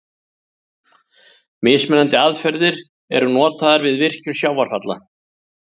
Mismunandi aðferðir eru notaðar við virkjun sjávarfalla.